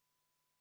Soovin tõepoolest.